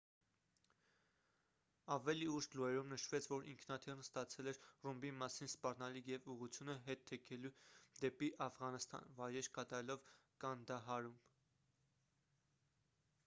ավելի ուշ լուրերում նշվեց որ ինքնաթիռն ստացել էր ռումբի մասին սպառնալիք և ուղղությունը հետ թեքել դեպի աֆղանստան վայրէջք կատարելով կանդահարում